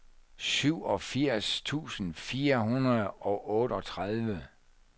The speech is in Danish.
syvogfirs tusind fire hundrede og otteogtredive